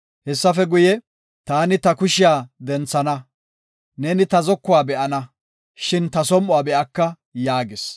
Hessafe guye, taani ta kushiya denthana; neeni ta zokuwa be7ana, shin ta som7uwa be7aka” yaagis.